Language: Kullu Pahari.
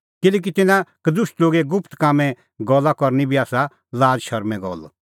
किल्हैकि तिन्नां कदुष्ट लोगे गुप्त कामें गल्ला करनी बी आसा लाज़ शरमें गल्ला